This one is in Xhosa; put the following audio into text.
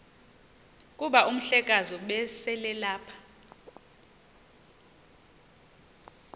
kuba umhlekazi ubeselelapha